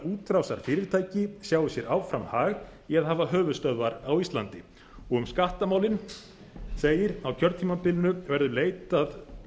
útrásarfyrirtæki sjái sér áfram hag í að hafa höfuðstöðvar á íslandi um skattamálin segir á kjörtímabilinu verður leitað